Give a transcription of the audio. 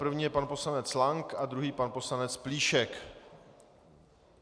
První je pan poslanec Lank a druhý pan poslanec Plíšek.